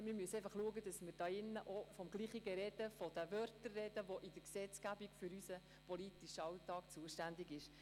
Wir müssen einfach darauf achten, dass wir im Grossen Rat vom selben sprechen und jene Wörter verwenden, die in der Gesetzgebung für unseren politischen Alltag vorgesehen sind.